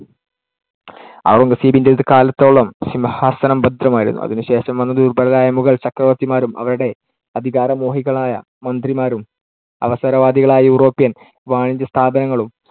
ഔറംഗസേബിന്‍ടെ ഒരു കാലത്തോളം സിംഹാസനം ഭദ്രമായിരുന്നു. അതിനുശേഷം വന്ന ദുർബലരായ മുഗൾ ചക്രവർത്തിമാരും അവരുടെ അധികാരമോഹികളായ മന്ത്രിമാരും അവസരവാദികളായ യൂറോപ്യൻ വാണിജ്യസ്ഥാപനങ്ങളും